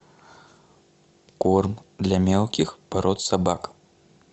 корм для мелких пород собак